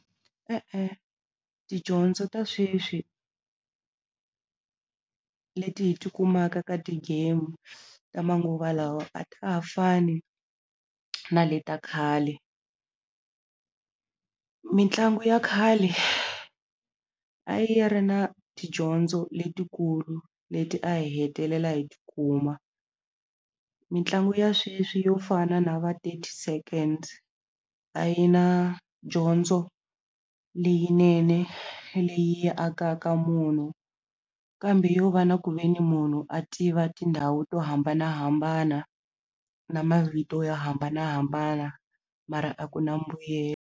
E-e tidyondzo ta sweswi leti hi ti kumaka ka ti game ta manguva lawa a ta ha fani na le ta khale mitlangu ya khale a yi ri na tidyondzo letikulu leti a hi hetelela hi tikuma mitlangu ya sweswi yo fana na va thirty seconds a yi na dyondzo leyinene leyi yi akaka munhu kambe yo va na ku ve ni munhu a tiva tindhawu to hambanahambana na mavito yo hambanahambana mara a ku na .